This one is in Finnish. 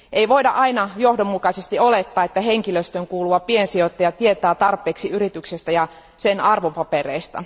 Ei voida aina johdonmukaisesti olettaa, että henkilöstöön kuuluva piensijoittaja tietää tarpeeksi yrityksestä ja sen arvopapereista.